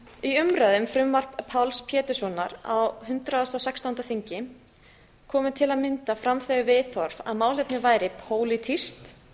í umræðu um frumvarp sem lagt var fram af páls péturssonar á hundrað og sextándu þingi komu til að mynda fram þau viðhorf að málefnið væri pólitískt